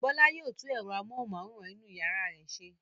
Bọ́lá yóò tú ẹ̀rọ amóhùmáwòhán náà ṣe.